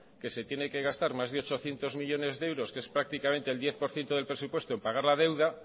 que se tiene que gastar más de ochocientos millónes de euros que es prácticamente el diez por ciento del presupuesto en pagar la deuda